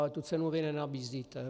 Ale tu cenu vy nenabízíte.